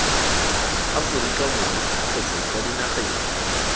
aforika borwa kgotsa kwa dinageng